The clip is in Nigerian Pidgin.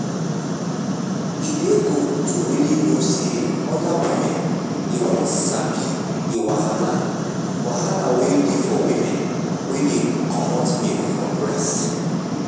e dey good to really know say other women dey won sabi the wahala wahala wen dey for women wen dey comot milk from breast.